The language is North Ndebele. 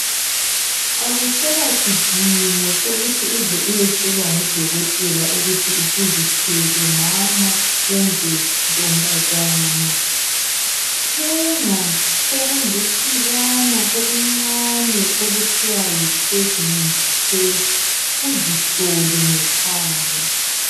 Akuselasidingo sokuthi uze uyotshelwa ngudokotela ukuthi usuzithwele mama kumbe ntombazana. Thenga okulusibana okuncane okuthiwa yipreginensi thesti, uzihlole ngekhaya.